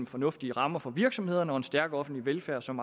fornuftige rammer for virksomhederne og en stærk offentlig velfærd som